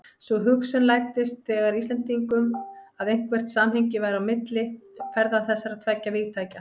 Sú hugsun læddist þegar að Íslendingum, að eitthvert samhengi væri milli ferða þessara tveggja vígtækja.